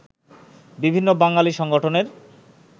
বিভিন্ন বাঙালি সংগঠনের